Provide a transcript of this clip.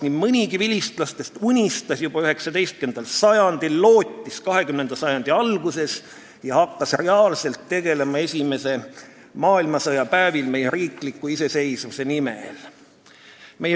Nii mõnigi vilistlastest unistas juba 19. sajandil, lootis 20. sajandi alguses ja hakkas esimese maailmasõja päevil reaalselt tegutsema meie riikliku iseseisvuse nimel.